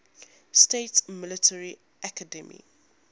states military academy